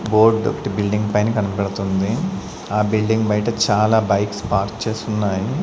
Board ఒకటి building పైన కనపడుతుంది ఆ బిల్డింగ్ బయట చాలా బైక్స్ పార్క్ చేసి ఉన్నాయి.